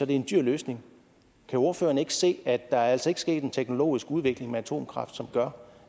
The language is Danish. en dyr løsning kan ordføreren ikke se at der altså ikke er sket en teknologisk udvikling med atomkraft som gør